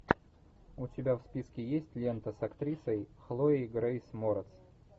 у тебя в списке есть лента с актрисой хлоей грейс морец